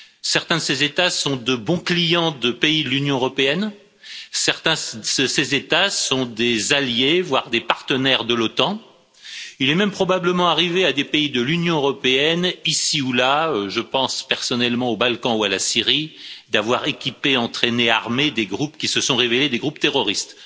Certains de ces États sont de bons clients de pays de l'Union européenne, certains de ces États sont des alliés, voire des partenaires de l'OTAN. Il est même probablement arrivé à des pays de l'Union européenne, ici ou là, je pense personnellement aux Balkans ou à la Syrie, d'avoir équipé, entraîné, armé des groupes qui se sont révélés des groupes terroristes.